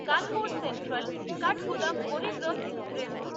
Kanpur central Kathgodam Garib Rath express